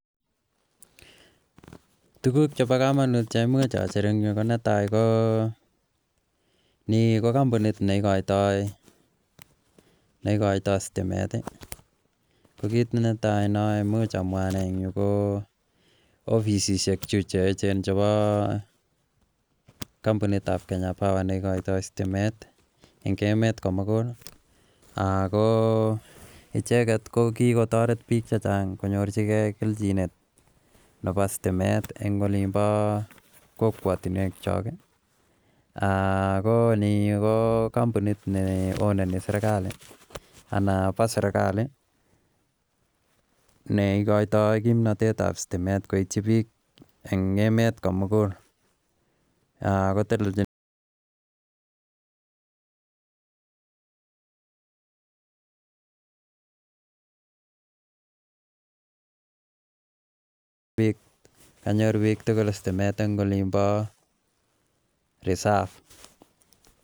Tuguk chebo komonut netai ko ni ko kombunit negoitoi stimet kambunit nebo Kenya power nebo stimeticheket ko kikotoret bik chechang stimet en olimbo kambuit nebo sereikali neigoito kimnotet tab stimet koiti bik en emet komugul bik tugul stimet en olimbo resob